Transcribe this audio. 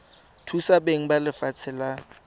thusa beng ba lefatshe la